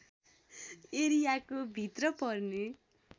एरियाको भित्र पर्ने